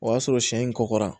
O y'a sɔrɔ sɛ in kɔkɔra